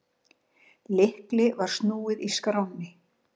Lykli var snúið í skránni.